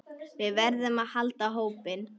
Við verðum að halda hópinn!